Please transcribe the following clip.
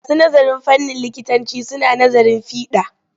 Masu nazarin fannin likitanci suna nazarin fiɗa.